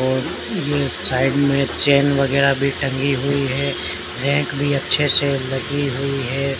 और ये साइड में चैन वगैरा भी टंगी हुई है रैक भी अच्छे से लगी हुई है